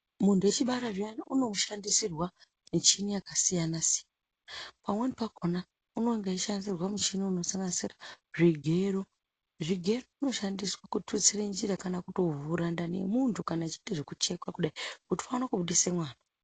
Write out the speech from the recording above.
Muntu echibara zviyani uno shandisirwa michini yaka siyana siyana pamweni pakona unonga eyi shandisirwe muchini uno sanganisira zvigero zvigero zvino shandiswa ku tutsire njira kana kuto vhura ndani ye muntu kana achiite zveku chekwa kudai kuti vaone kubudisa mwana.